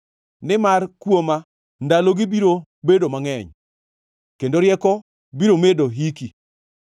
Nimar kuoma ndalogi biro bedo mangʼeny, kendo rieko biro medo hiki.